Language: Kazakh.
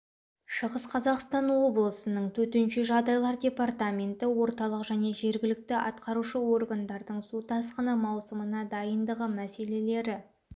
шығыс қазақстан облысының төтенше жағдайлар департаменті орталық және жергілікті атқарушы органдардың су тасқыны маусымына дайындығы мәселелері